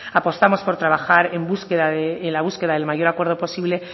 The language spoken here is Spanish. apostamos por trabajar en la búsqueda del mayor acuerdo posible